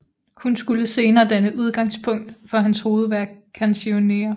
Hun skulle senere danne udgangspunkt for hans hovedværk Canzoniere